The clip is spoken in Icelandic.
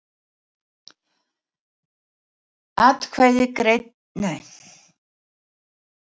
Atkvæði greidd í tvennu lagi